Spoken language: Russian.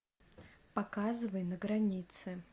показывай на границе